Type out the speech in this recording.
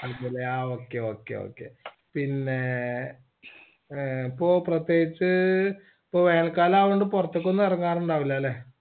ൽ ആ okay okay okay പിന്നേ അഹ് ഇപ്പൊ പ്രേത്യേകിച്ച് ഇപ്പൊ വേനൽ കാലവനൊണ്ട് പൊറത്തേക്ക് ഒന്നും ഇറങ്ങാറുണ്ടാവൂലാല്ലേ